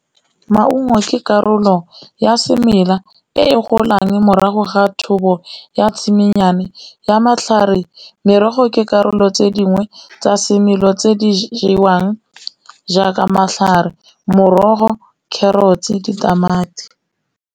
Maungo ke karolo ya semela e golang morago ga thobo ya tshimo nnyane ya matlhare, merogo ke karolo tse dingwe tsa semelo tse di jewang jaaka matlhare, morogo, carrots, ditamati.